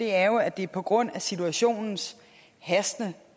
er jo at det er på grund af situationens hastende